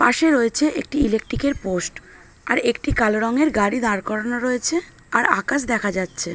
পাশে রয়েছে একটি ইলেক্ট্রিকের পোস্ট । আর একটি কালো রঙের গাড়ি দাঁড় করানো রয়েছে আর আকাশ দেখা যাচ্ছে।